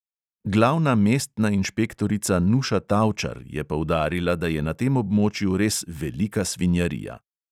Glavna mestna inšpektorica nuša tavčar je poudarila, da je na tem območju res velika svinjarija.